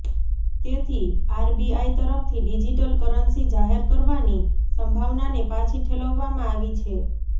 તેથી આરબીઆઈ તરફથી digital currency જાહેર કરવાની સંભાવનાને પાછી ઠેલવામાં આવી છે